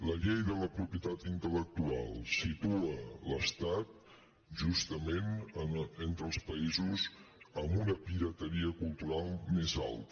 la llei de la propietat intellectual situa l’estat justament entre els països amb una pirateria cultural més alta